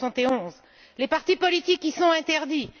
1971. Les partis politiques y sont interdits.